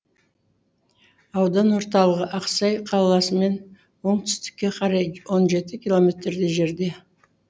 аудан орталығы ақсай қаласымен оңтүстікке қарай он жеті километрдей жерде